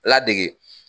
Ladege